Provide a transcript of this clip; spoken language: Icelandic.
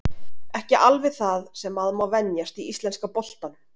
Ekki alveg það sem maður má venjast í íslenska boltanum.